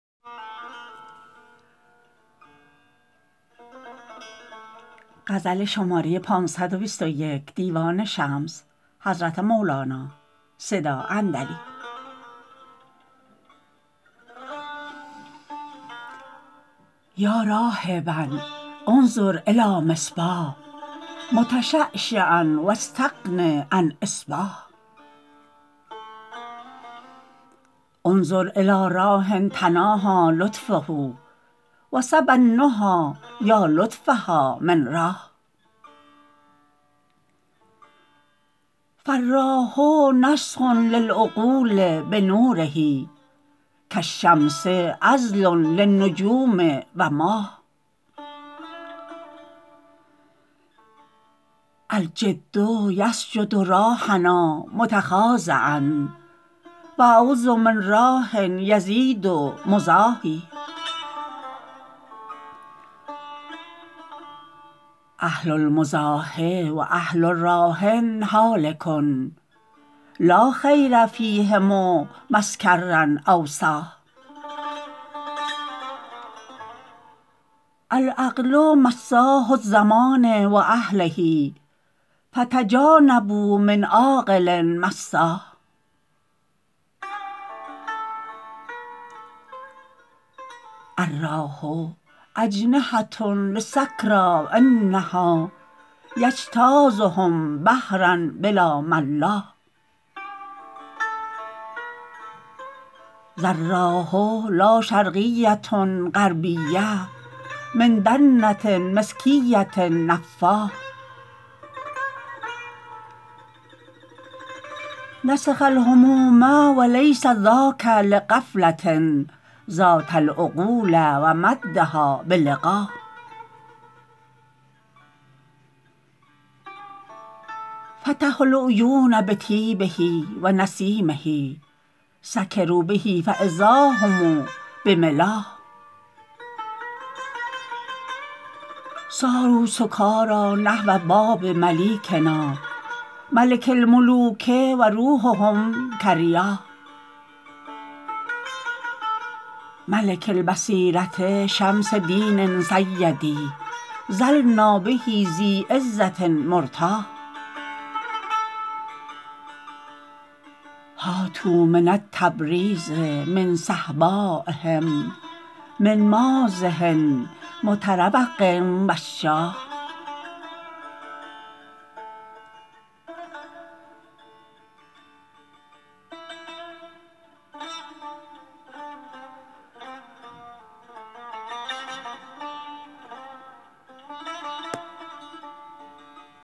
یا راهبا انظر الی مصباح متشعشعا و استغن عن اصباح انظر الی راح تناهی لطفه و سبی النهی یا لطف ها من راح فالراح نسخ للعقول بنوره کالشمس عزل للنجوم و ماح الجد یسجد راحنا متخاضعا و اعوذ من راح یزید مزاحی اهل المزاح و اهل راح هالک لا خیر فیهم مسکرا او صاحی العقل مساح الزمان و اهله فتجانبوا من عاقل مساح الراح اجنحه لسکری انها یجتازهم بحرا بلا ملاح ذا الراح لا شرقیه غربیه من دنه مسکیه نفاح نسخ الهموم و لیس ذاک لغفله زاد العقول و مدها بلقاح فتحوا العیون بطیبه و نسیمه سکروا به فاذا هم بملاح صاروا سکاری نحو باب ملیکنا ملک الملوک و روحهم کریاح ملک البصیره شمس دین سیدی ظلنا به ذی عزه مرتاح هاتوا من التبریز من صهبایهم من مازح متروق وشاح